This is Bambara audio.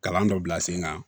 Kalan dɔ bila sen kan